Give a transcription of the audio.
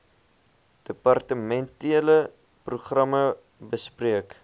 departementele programme bespreek